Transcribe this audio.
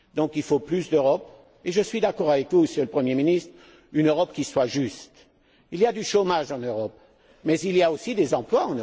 Il faut donc plus d'Europe et je suis d'accord avec vous, Monsieur le Premier ministre une Europe qui soit juste. Il y a du chômage en Europe mais il y a aussi des emplois.